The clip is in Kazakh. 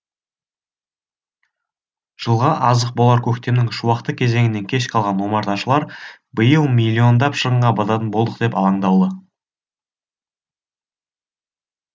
жылға азық болар көктемнің шуақты кезеңінен кеш қалған омарташылар биыл миллиондап шығынға бататын болдық деп алаңдаулы